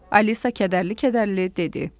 Alisa kədərli-kədərli dedi.